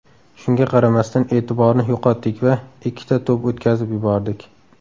Shunga qaramasdan, e’tiborni yo‘qotdik va ikkita to‘p o‘tkazib yubordik.